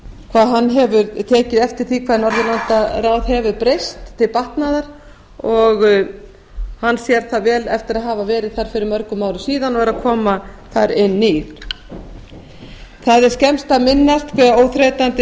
hvað hann hefur tekið eftir því hvað norðurlandaráð hefur breyst til batnaðar og hann sér það vel eftir að hafa verið þar fyrir mörgum árum síðan og er að koma þar inn á ný það er skemmst að minnast hve óþreytandi